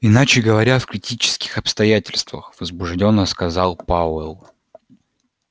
иначе говоря в критических обстоятельствах возбуждённо сказал пауэлл